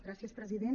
gràcies president